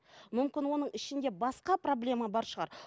мүмкін оның ішінде басқа проблема бар шығар